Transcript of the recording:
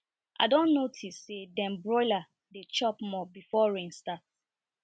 i don notice say dem broiler dey chop more before rain start